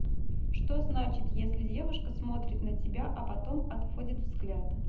что значит если девушка смотрит на тебя а потом отводит взгляд